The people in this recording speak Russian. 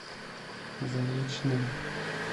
заречным